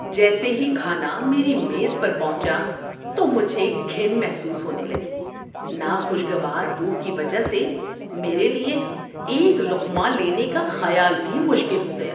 جیسے ہی کھانا میری میز پر پہنچا تو مجھے گھن محسوس ہونے لگی۔ ناخوشگوار بو کی وجہ سے میرے لیے ایک لقمہ لینے کیا خیال بھی مشکل ہو گیا۔